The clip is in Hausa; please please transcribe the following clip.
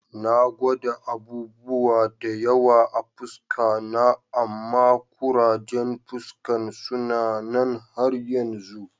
Na gwada abubuwa da yawa a'fuska na amma kurajen fuskan suna nan har yanzu.